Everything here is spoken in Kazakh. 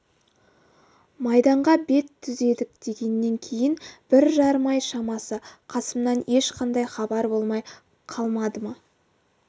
майданға бет түзедік дегеннен кейін бір жарым ай шамасы қасымнан ешқандай хабар болмай қалмады ма